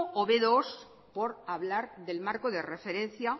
o be dos por hablar del marco de referencia